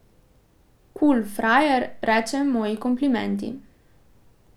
Kul, frajer, reče, moji komplimenti.